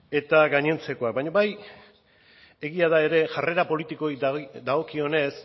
eta gainontzekoak baina bai egia da ere jarrera politikoei dagokionez